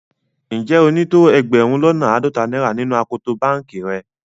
Njẹ́ o ni tó ẹgbérùn lọ́nà aádọ́tà naira nínu akòtò bankì rẹ̀?